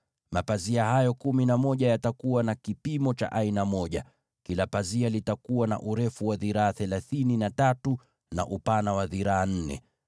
Mapazia hayo kumi na moja yatakuwa na kipimo kimoja, yaani urefu wa dhiraa thelathini, na upana wa dhiraa nne.